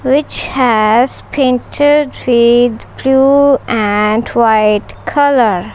which has painted red blue and white colour.